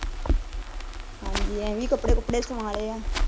ਹਾਂਜੀ ਐਵੇਂ ਈ ਕੱਪੜੇ ਕੁਪੜੇ ਸਵਾ ਲੇ ਏ